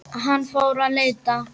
Hann fór að leita.